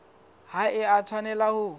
ha e a tshwanela ho